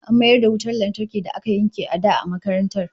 An mayar da wutar lantarkin da aka yanke a da a makarantar